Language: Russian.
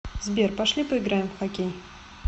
сбер пошли поиграем в хоккей